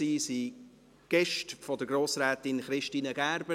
Sie sind Gäste von Grossrätin Christine Gerber.